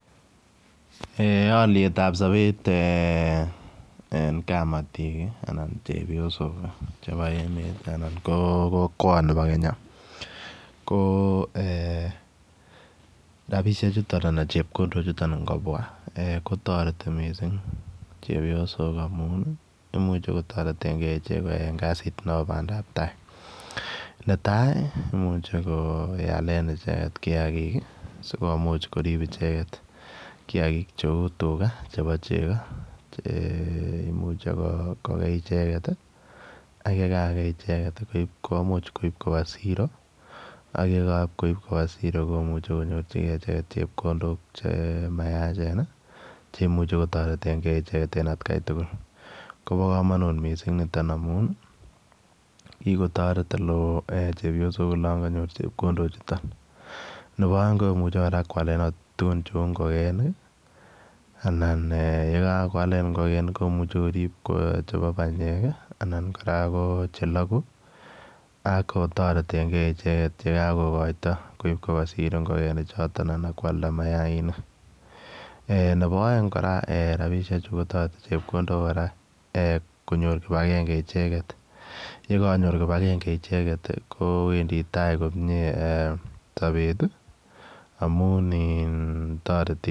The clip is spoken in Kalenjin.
Eeh aliet ab sabeet eng kabatiik ii anan chepyosook ii chebo kokwet anan kokwet nibo Kenya ko eeh rapisheek chutoon anan chepkondook chutoon ingobwa kotaretii missing chepyosook amuun ii imuuchei kotareteen gei en kasiit nebo Bandap tai netai ii imuche koyaleen ichegeet kiagik ii sikomuuch koriib ichegeet che uu tugaah chebo chegoo eeh imuche kogei ak ye kagei ichegeet komuuch koib koba siroo ak ye koib kobaa siro komuuch konyoor chepkondook cheimuuch kotareteen kei ichegeet en at Kai tugul koba kamanuut missing nitoon amuun ii kikotareet ole wooh chepyosook olaan kanyoor chepkondook chutoon nebo aeng komuchei koyaleen tuguuk che uu ingogenik ii anan eeh ye kakoalen ingogenik komuchei koriib chebo panyeek ii anan kora ko chelaguu ak ko tareteen gei ichegeet ye kakokaitoi koib kobaa siro ingogenik chotoon anan koyalda mayainik eeh nebo aeng kora rapisheek chuu kotaretii chepkondook kora konyoor kibagengei ichegeet ye kibangengei ichegeet ko Wendi tai komyei eeh sabeet ii amuun ii taretii.